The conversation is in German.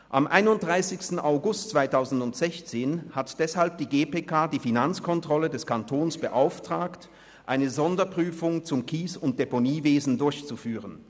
Am 31. August 2016 hat deshalb die GPK die Finanzkontrolle des Kantons beauftragt, eine Sonderprüfung zum Kies- und Deponiewesen durchzuführen.